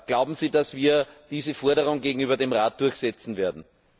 Glauben Sie, dass wir diese Forderung gegenüber dem Rat durchsetzen werden?